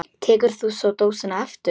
Tekur þú svo dósina aftur?